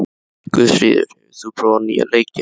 Guðfríður, hefur þú prófað nýja leikinn?